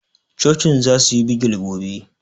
Cocin za su yi bigil gobe